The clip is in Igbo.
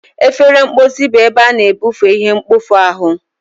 Efere mposi bụ ebe ị na-ebufe ihe mkpofu ahu.